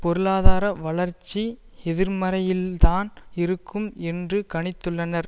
பொருளாதார வளர்ச்சி எதிர்மறையில்தான் இருக்கும் என்று கணித்துள்ளனர்